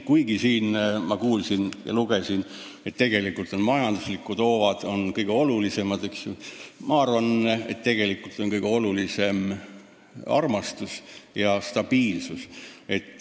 Kuigi ma siin kuulsin ja lugesin, et majanduslikud hoovad on kõige olulisemad, arvan mina, et tegelikult on kõige olulisem armastus ja stabiilsus.